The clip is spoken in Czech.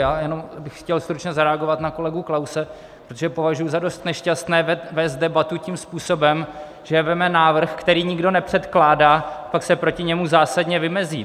Já jenom bych chtěl stručně zareagovat na kolegu Klause, protože považuji za dost nešťastné vést debatu tím způsobem, že vezme návrh, který nikdo nepřekládá, pak se proti němu zásadně vymezí.